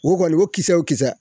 Ho kɔni ho kisɛ wo kisɛ.